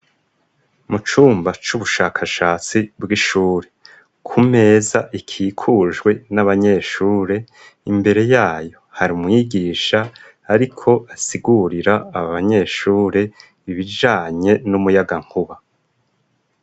Mu cumba c'ubushakashatsi bw'ishuri. Ku meza ikikujwe n'abanyeshure, imbere yayo hari mwigisha ariko asigurira aba banyeshuri ibijanye n'umuyagankuba.